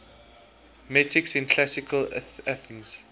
metics in classical athens